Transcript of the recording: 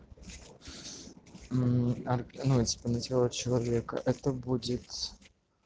мм ар ну типо на тело человека это будет